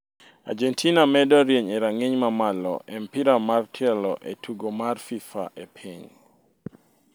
Argentina medo rieny e rang'iny mamalo e mpira mar tielo e tugo mar fifa e piny